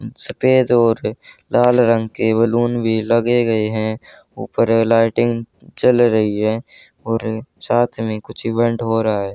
इस पर जो लाल रंग के बैलून भी लगे गए हैं ऊपर लाइटिंग चल रही है और साथ में कुछ इवेंट हो रहा है।